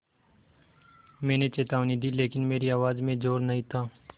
मैंने चेतावनी दी लेकिन मेरी आवाज़ में ज़ोर नहीं था